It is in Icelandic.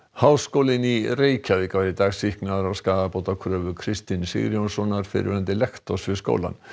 háskólinn í Reykjavík var í dag sýknaður af skaðabótakröfu Kristins Sigurjónssonar fyrrverandi lektors við skólann